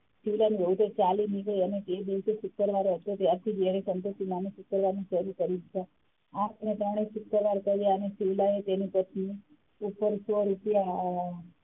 શીવલાની વહુ તો ચાલી નિકડી અને તે દિવસે શુક્રવાર હતો ત્યારથી તેને સંતોષીમાંના શુક્રવાર ચાલુ કરી દીધા આંખ ના તાણે શુક્રવાર કર્યા અને શિવલાએ તેની પત્ની ઉપર સોં રૂપિયા,